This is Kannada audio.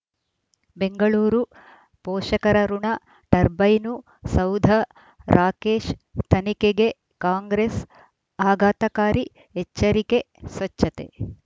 ಬೆಂಗಳೂರು ಪೋಷಕರಋಣ ಟರ್ಬೈನು ಸೌಧ ರಾಕೇಶ್ ತನಿಖೆಗೆ ಕಾಂಗ್ರೆಸ್ ಆಘಾತಕಾರಿ ಎಚ್ಚರಿಕೆ ಸ್ವಚ್ಛತೆ